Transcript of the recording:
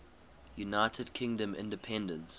united kingdom independence